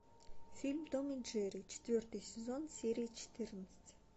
фильм том и джерри четвертый сезон серия четырнадцать